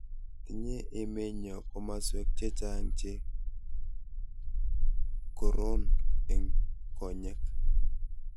tinye emenyo komoswek che chang' che kororn eng' konyek